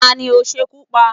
Ta ní o sekú pá?